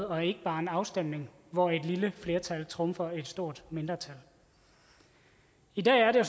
og ikke bare en afstemning hvor et lille flertal trumfer et stort mindretal i dag er det